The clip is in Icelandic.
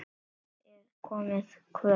Það er komið kvöld.